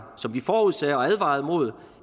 som vi forudsagde og advarede imod